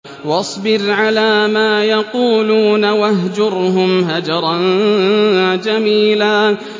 وَاصْبِرْ عَلَىٰ مَا يَقُولُونَ وَاهْجُرْهُمْ هَجْرًا جَمِيلًا